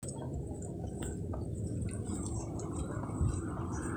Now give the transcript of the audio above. tapaliki iyiok tenkaraki eitu kidumu esimu, kiterewutua lolan linono